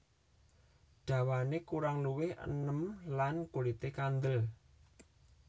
Dawané kurang luwih enem lan kulité kandêl